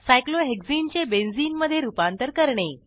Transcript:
cyclohexene चे benzene मधे रूपांतर करणे